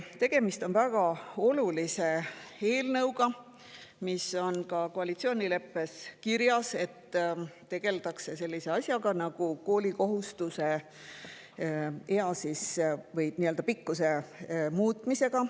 Tegemist on väga olulise eelnõuga, mis on ka koalitsioonileppes kirjas: tegeldakse sellise asjaga nagu koolikohustuse ea või siis pikkuse muutmisega.